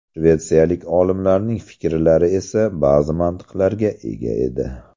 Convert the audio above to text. Shvetsiyalik olimlarning fikrlari esa ba’zi mantiqlarga ega edi.